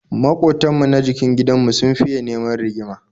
Maƙotan mu na jikin gidan mu sun fiya neman rigima